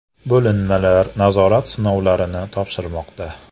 Bo‘linmalar nazorat sinovlarini topshirmoqda .